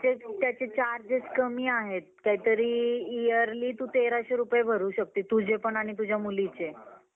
ते त्याचे charges कमी आहेत. कायतरी Yearly तू तेराशे रुपये भरू शकतेस. तुझे पण आणि तुझ्या मुलीचे. दोघांचे पण